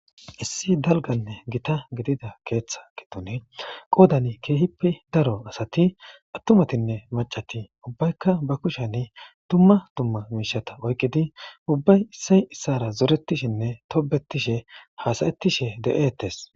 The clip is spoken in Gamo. Issi dalganne githa giddida keeththa giddone qoodani keehippe daro asati attumatinne maccati ubbaykka ba kushani dumma dumma mishata oykkidi ubbay issay issara zorattishinne tobbetthishe haasayttishe de'etees.